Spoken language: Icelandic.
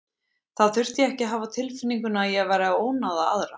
Þá þurfti ég ekki að hafa á tilfinningunni að ég væri að ónáða aðra.